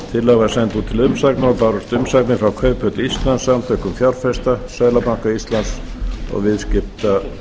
út til umsagnar og bárust umsagnir frá kauphöll íslands samtökum fjárfesta seðlabanka íslands og viðskiptaráði